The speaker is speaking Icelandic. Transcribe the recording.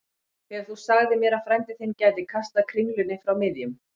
Þegar þú sagðir mér að frændi þinn gæti kastað kringlunni frá miðjum